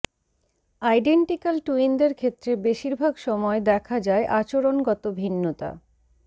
identical টুইনদের ক্ষেত্রে বেশিরভাগ সময় দেখা যায় আচরণগত ভিন্নতা